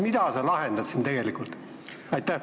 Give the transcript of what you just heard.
Mis probleemi sa lahendad siin tegelikult?